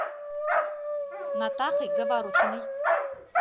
натахой говорухиной